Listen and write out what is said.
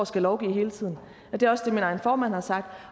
skal lovgive hele tiden det er også det min egen formand har sagt